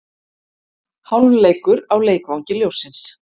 Hálfleikur á Leikvangi ljóssins